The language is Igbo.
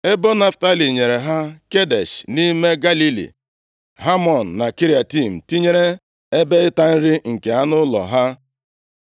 Ebo Naftalị nyere ha Kedesh nʼime Galili, Hamọn na Kiriatem, tinyere ebe ịta nri nke anụ ụlọ ha.